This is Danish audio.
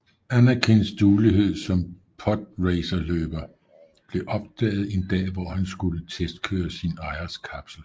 Anakins duelighed som podracerløber blev opdaget en dag hvor han skulle testkøre sin ejers kapsel